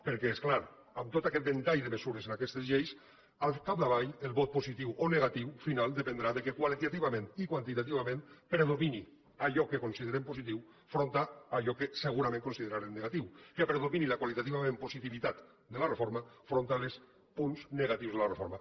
perquè és clar amb tot aquest ventall de mesures en aquestes lleis al capdavall el vot positiu o negatiu final dependrà del fet que qualitativament i quantitativament predomini allò que considerem positiu enfront d’allò que segurament considerarem negatiu que predomini la qualitativament positivitat de la reforma enfront dels punts negatius de la reforma